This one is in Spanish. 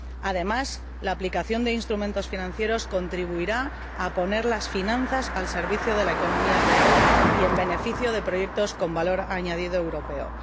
Además, la aplicación de instrumentos financieros contribuirá a poner las finanzas al servicio de la economía real y en beneficio de proyectos con valor añadido europeo.